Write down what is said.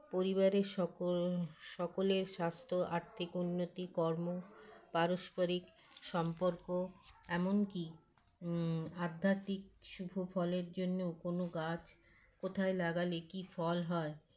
পরিবারের সকল সকলের স্বাস্থ্য আর্থিক উন্নতি কর্ম পারস্পরিক সম্পর্ক এমনকি ম আধ্যাত্মিক শুভফলের জন্য কোনো গাছ কোথায় লাগালে কী ফল হয়